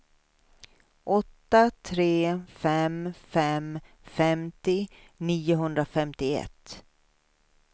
åtta tre fem fem femtio niohundrafemtioett